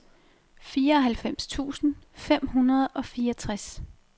fireoghalvfems tusind fem hundrede og fireogtres